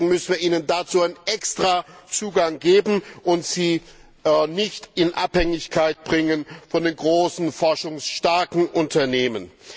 Deswegen müssen wir ihnen dazu einen extra Zugang geben und sie nicht in Abhängigkeit bringen von den großen forschungsstarken Unternehmen.